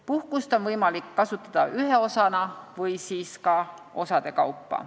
Puhkust on võimalik kasutada ühe osana või ka osade kaupa.